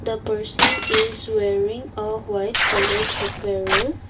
the person is wearing a white coloured apparel